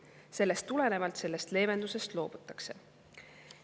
Sellest tulenevalt sellest leevendusest loobutakse.